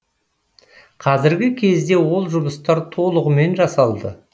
қазіргі кезде ол жұмыстар толығымен жасалды